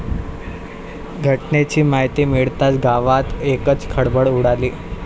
घटनेची माहिती मिळताच गावात एकच खळबळ उडाली.